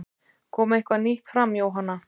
Kom eitthvað nýtt fram Jóhanna?